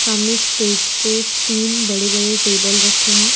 सामने स्टेज पे तीन बड़े बड़े टेबल रखे हैं।